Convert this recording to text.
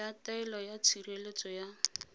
ya taelo ya tshireletso ya